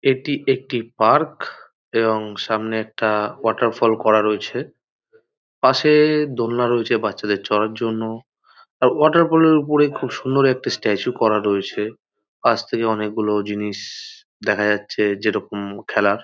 এটি একটি পার্ক এবং সামনে একটা-আ ওয়াটারফল করা রয়েছে পাশে-এ-এ দোলনা রয়েছে বাচ্চাদের চরার জন্য আর ওয়াটারফল -এর ওপর খুব সুন্দর একটি স্ট্যাচু করা রয়েছে ।পাশ থেকে অনেকগুলো জিনিস-সসস দেখা যাচ্ছে যেরকম খেলার।